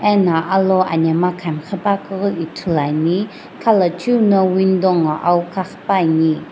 ana alo anemgha khan ghipankeu ithulu ane khalu cheu no window nguo awo ghaghipane.